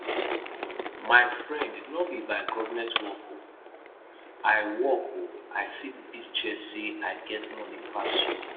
my friend no be by government work oo i work oo i fit beat chest say i get money pass you